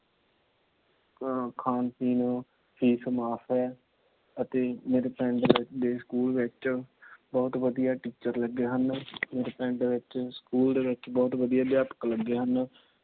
ਖਾਣ ਪੀਣ ਫੀਸ ਮਾਫ ਏ। ਅਤੇ ਮੇਰੇ ਪਿੰਡ ਦੇ ਸਕੂਲ ਵਿੱਚ ਬਹੁਤ ਵਧੀਆ Teacher ਲੱਗੇ ਹਨ। ਮੇਰੇ ਪਿੰਡ ਵਿੱਚ ਸਕੂਲ ਦੇ ਵਿੱਚ ਬਹੁਤ ਵਧੀਆ ਅਧਿਆਪਕ ਲੱਗੇ ਹਨ।